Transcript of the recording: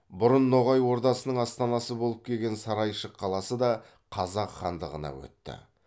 бұрын ноғай ордасының астанасы болып келген сарайшық қаласы да қазақ хандығына өтті